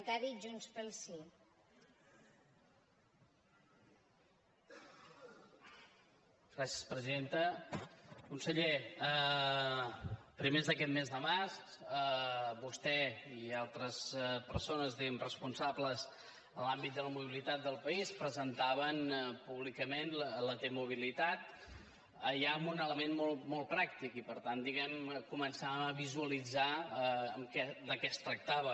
conseller a primers d’aquest mes de març vostè i altres persones diguem ne responsables en l’àmbit de la mobilitat del país presentaven públicament la t mobilitat ja amb un element molt pràctic i per tant diguem ne començàvem a visualitzar de què es tractava